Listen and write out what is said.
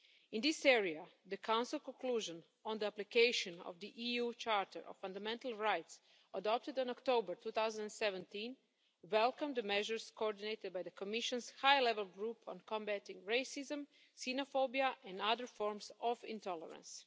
In this area, the Council conclusions on the application of the EU Charter of Fundamental Rights, adopted in October 2017, welcomed the measures coordinated by the Commission's High Level Group on combating racism, xenophobia and other forms of intolerance.